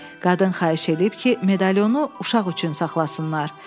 Qadın xahiş edib ki, medalionu uşaq üçün saxlasınlar.